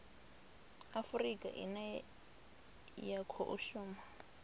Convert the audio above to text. afurika ine ya khou shuma